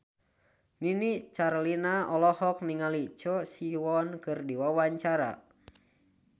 Nini Carlina olohok ningali Choi Siwon keur diwawancara